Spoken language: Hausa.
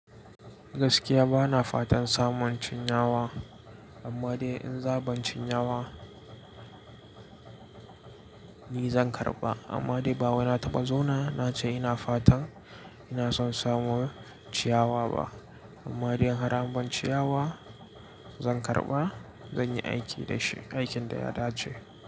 Gaskiya bana fatan samun cinyawa, amma dai in za'a ban cinyawa ni zan karɓa. Amma dai ba wani na taɓa zauna na ce ina fatan ina son samun ciyawa ba. Amma dai har an ban ciyawa zan karɓa, zan yi aiki da shi, aikin da ya dace.